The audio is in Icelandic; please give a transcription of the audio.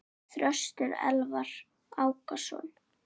Þröstur Elvar Ákason.